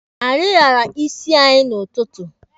Anyị lara isi anyị n'ụtụtụ.